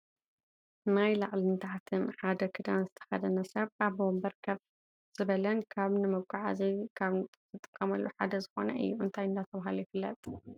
ናይ ላዕልን ታሕትን ሓደ ክዳን ዝተከደነ ሰብ ኣብ ወንበር ከፍ ዝበለን ካበ ንመጎዓዓዚ ካብ ዝጠቅሙና ሓደ ዝኮነ እዩ። እንታይ እናተባህለ ይፍለጥ?